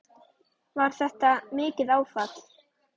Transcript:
Var þetta mikið áfall?